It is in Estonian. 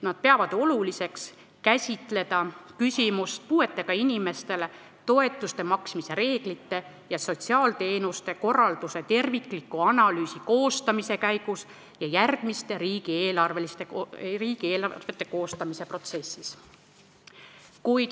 Nad peavad oluliseks käsitleda küsimust puuetega inimestele toetuste maksmise reeglite ja sotsiaalteenuste korralduse tervikliku analüüsi koostamise käigus ja järgmiste riigieelarvete koostamise protsessis.